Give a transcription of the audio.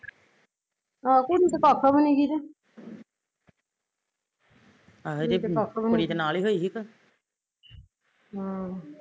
ਆਹੋ ਕੁੜੀ ਤੇ ਕਖ ਵੀ ਨੀਗੀ ਜੇ ਹਮ